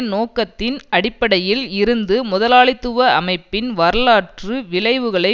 நோக்கத்தின் அடிப்படையில் இருந்து முதலாளித்துவ அமைப்பின் வரலாற்று விழைவுகளை